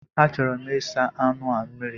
A chọrọ m ịsa anụ a mmiri.